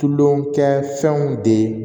Tulo kɛ fɛnw de